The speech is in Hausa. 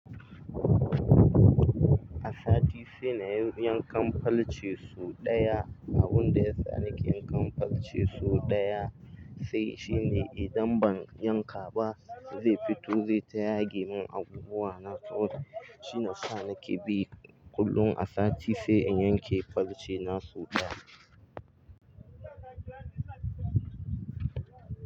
A sati sai na yi yankan falce sau ɗaya. Abun da ya sa nake yankan falce sau ɗaya, sai shine idan ban yanka ba zai fito zai ta yage mun abubuwa na. Shina sa nake bi kullum a sati sai in yanke falce na sau ɗaya.